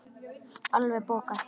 Alveg bókað!